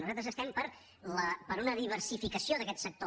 nosaltres estem per una diversificació d’aquest sector